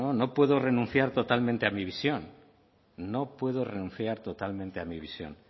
no no puedo renunciar totalmente a mi visión no puedo renunciar totalmente a mi visión